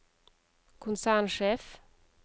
konsernsjef